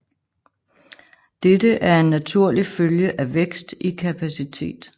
Dette er en naturlig følge af vækst i kapacitet